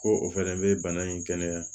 Ko o fɛnɛ bɛ bana in kɛnɛya